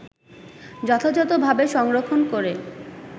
যথাযথভাবে সংরক্ষণ করে